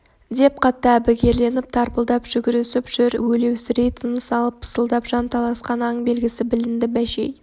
деп қатты әбігерленіп тарпылдап жүгірісіп жүр өлеусірей тыныс алып пысылдап жан таласқан аң белгісі білінді бәшей